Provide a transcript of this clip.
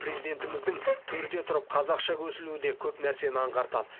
президентіміздің төрде тұрып қазақша көсілуі де көп нәрсені аңғартады